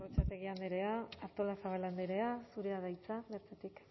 gorrotxategi andrea artolazabal andrea zurea da hitza bertatik